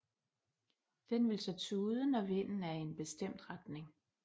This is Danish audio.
Den vil så tude når vinden er i en bestemt retning